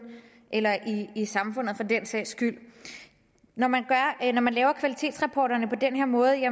eller i i samfundet for den sags skyld når man når man laver kvalitetsrapporterne på den her måde